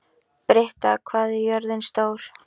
Britta, hvað er jörðin stór?